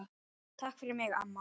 Takk fyrir mig, amma.